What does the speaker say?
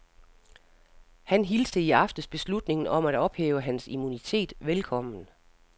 Han hilste i aftes beslutningen om at ophæve hans immunitet velkommen.